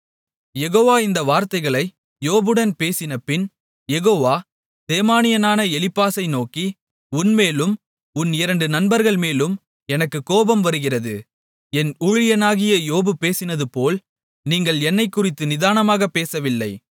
யெகோவா இந்த வார்த்தைகளை யோபுடன் பேசினபின் யெகோவா தேமானியனான எலிப்பாசை நோக்கி உன்மேலும் உன் இரண்டு நண்பர்கள்மேலும் எனக்குக் கோபம் வருகிறது என் ஊழியனாகிய யோபு பேசினதுபோல் நீங்கள் என்னைக்குறித்து நிதானமாகப் பேசவில்லை